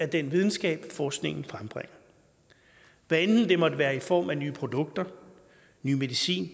den videnskab forskningen frembringer hvad enten det måtte være i form af nye produkter ny medicin